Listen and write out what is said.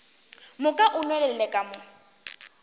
moka o nwelele ka mo